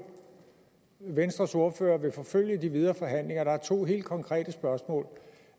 venstres ordfører vil forfølge i de videre forhandlinger der er to helt konkrete spørgsmål